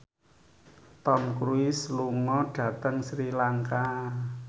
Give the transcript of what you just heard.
Tom Cruise lunga dhateng Sri Lanka